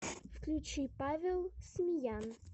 включи павел смеян